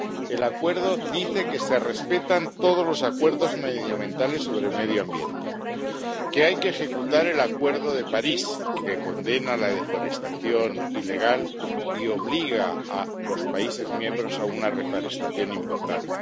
El Acuerdo dice que se respetan todos los acuerdos medioambientales, que hay que ejecutar el Acuerdo de París, condena la deforestación ilegal y obliga a los países miembros a una reforestación importante.